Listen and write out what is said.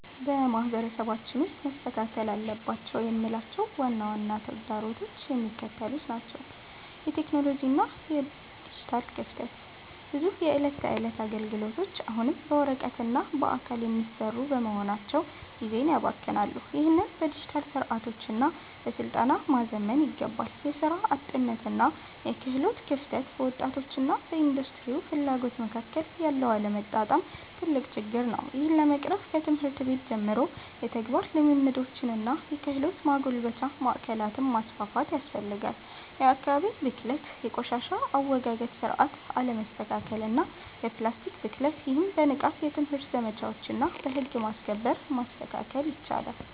በማህበረሰባችን ውስጥ መስተካከል አለባቸው የምላቸው ዋና ዋና ተግዳሮቶች የሚከተሉት ናቸው የቴክኖሎጂ እና የዲጂታል ክፍተት፦ ብዙ የዕለት ተዕለት አገልግሎቶች አሁንም በወረቀትና በአካል የሚሰሩ በመሆናቸው ጊዜን ያባክናሉ። ይህንን በዲጂታል ስርዓቶችና በስልጠና ማዘመን ይገባል። የሥራ አጥነትና የክህሎት ክፍተት፦ በወጣቶችና በኢንዱስትሪው ፍላጎት መካከል ያለው አለመጣጣም ትልቅ ችግር ነው። ይህን ለመቅረፍ ከትምህርት ቤት ጀምሮ የተግባር ልምምዶችንና የክህሎት ማጎልበቻ ማዕከላትን ማስፋፋት ያስፈልጋል። የአካባቢ ብክለት፦ የቆሻሻ አወጋገድ ስርዓት አለመስተካከልና የፕላስቲክ ብክለት። ይህም በንቃት የትምህርት ዘመቻዎችና በህግ ማስከበር መስተካከል ይችላል።